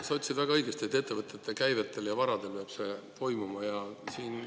Sa ütlesid väga õigesti, et ettevõtete käivetel ja varadel peab see toimuma.